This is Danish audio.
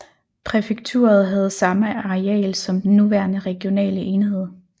Præfekturet havde samme areal som den nuværende regionale enhed